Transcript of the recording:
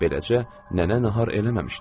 Beləcə nənə nahar eləməmişdi.